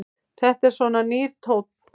Þetta er svona nýr tónn.